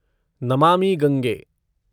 Namami Gange